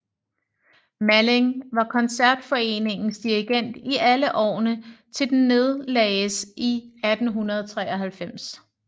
Malling var Koncertforeningens dirigent i alle årene til den nedlagdes i 1893